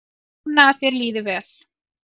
Vona að þér líði vel.